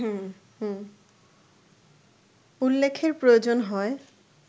উল্লেখের প্রয়োজন হয়